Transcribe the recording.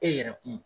E yɛrɛ kun